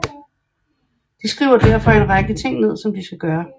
De skriver derfor en række ting ned som de skal gøre